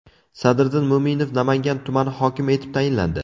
Sadriddin Mo‘minov Namangan tumani hokimi etib tayinlandi.